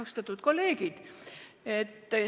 Austatud kolleegid!